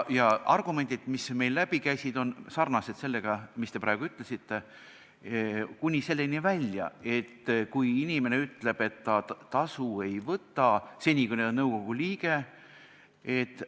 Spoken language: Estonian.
Ja argumendid, mis meil läbi käisid, olid sarnased sellega, mida te praegu ütlesite, kuni selleni välja, et inimene ütleb, et seni, kui ta on nõukogu liige, ta tasu ei võta.